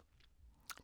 DR K